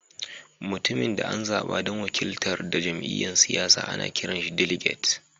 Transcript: Mutumin da an zaba dan wakiltar da jami'yyan siyasa ana kiran shi "diliget."